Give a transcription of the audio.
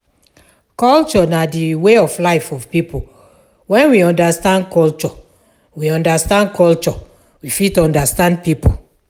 Culture na di way of life of pipo, when we understand culture we understand culture we fit understand pipo